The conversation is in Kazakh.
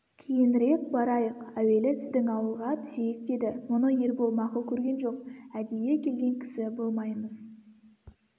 кейінірек барайық әуелі сіздің ауылға түсейік деді мұны ербол мақұл көрген жоқ әдейі келген кісі болмаймыз